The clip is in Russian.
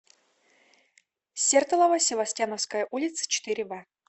сертолово севастьяновская улица четыре в